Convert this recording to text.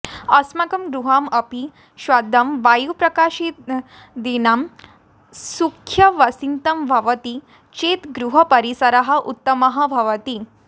अस्माकं गृहमपि शुद्धं वायुप्रकाशदिना सुव्यवस्थितं भवति चेत् गृहपरिसरः उत्तमः भवति